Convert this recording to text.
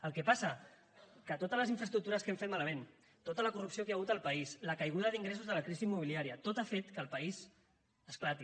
el que passa és que totes les infraestructures que hem fet malament tota la corrupció que hi ha hagut al país la caiguda d’ingressos de la crisi immobiliària tot ha fet que el país esclati